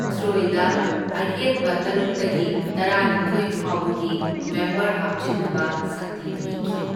ꯑꯍꯦꯟꯕ ꯇꯔꯨꯛꯇꯒꯤ ꯇꯔꯥꯅꯤꯊꯣꯢ ꯐꯥꯎꯕꯒꯤ ꯃꯦꯝꯕꯔ ꯍꯥꯞꯆꯤꯟꯅꯕ ꯁꯛꯇꯤ ꯄꯤꯈꯤ꯫